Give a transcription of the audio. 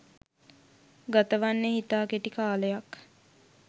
ගතවන්නේ ඉතා කෙටි කාලයක්